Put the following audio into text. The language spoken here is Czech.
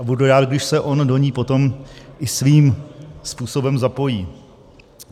A budu rád, když se on do ní potom i svým způsobem zapojí.